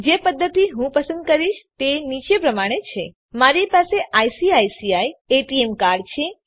જે પદ્ધતિ હું પસંદ કરીશ તે નીચે પ્રમાણે છે મારી પાસે આઇસીઆઇસીઆઇ એટીએમ કાર્ડ છે